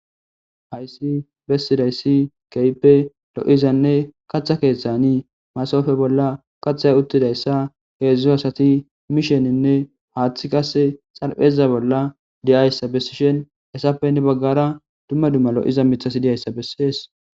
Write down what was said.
Haysi besizaysi kehipe lo'ida katha keethani masofe bolla kathay uthidaysa heezu asati mishenine haathi Kase xarpheza bolla di'iyasa besishen heysape hini bagara duma duma lo'ida mithati de'iyasa beses.